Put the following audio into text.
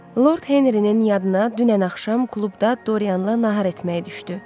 Lord Henrinin yadına dünən axşam klubda Dorianla nahar etməyi düşdü.